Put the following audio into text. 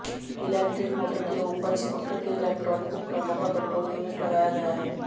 electric motor के ऊपर scooter के इलेक्ट्रॉनिक उपकरणों का कंट्रोल यूनिट लगाया गया है